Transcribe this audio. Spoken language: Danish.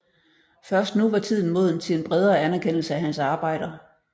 Først nu var tiden moden til en bredere anerkendelse af hans arbejder